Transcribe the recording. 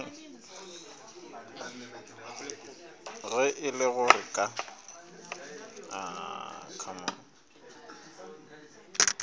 ge e le gore ka